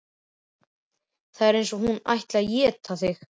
Það var eins og hún ætlaði að éta þig.